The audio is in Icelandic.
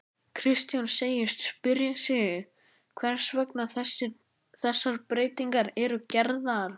Kristján segist spyrja sig hvers vegna þessar breytingar eru gerðar?